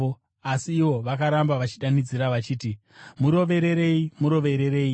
Asi ivo vakaramba vachidanidzira vachiti, “Murovererei! Murovererei!”